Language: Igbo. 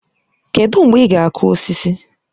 Kedụ mgbe ị ga-akụ osisi?